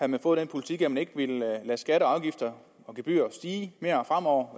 man fået den politik at man ikke ville lade skatter og afgifter og gebyrer stige mere fremover